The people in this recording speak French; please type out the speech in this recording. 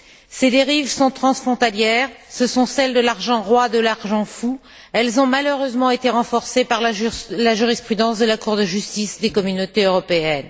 Ces dérives sont transfrontalières, ce sont celles de l'argent roi, de l'argent fou, elles ont malheureusement été renforcées par la jurisprudence de la Cour de justice des Communautés européennes.